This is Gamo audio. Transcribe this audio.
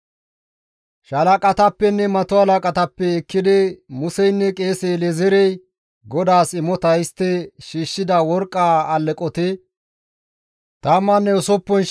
Shalaqatappenne mato halaqatappe ekkidi Museynne qeese El7ezeerey GODAAS imota histti shiishshida worqqa alleqoti 16,750 saqile gidides.